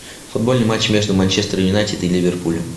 футбольный матч между манчестер юнайтед и ливерпулем